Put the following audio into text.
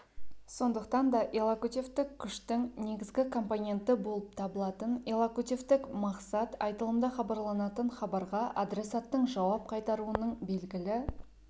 сондықтан да иллокутивтік күштің негізгі компоненті болып табылатын иллокутивтік мақсат айтылымда хабарланатын хабарға адресаттың жауап қайтаруының белгілі